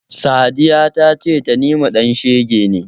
Sadiya ta ce Tanimu ɗan shege ne.